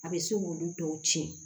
A bɛ se k'olu dɔw tiɲɛ